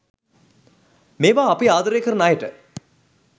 මෙවා අපි ආදරය කරන අයට